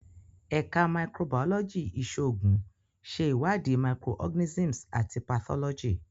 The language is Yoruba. Ẹka Microbiology Iṣoogun ṣe iwadi microorganisms ati pathology.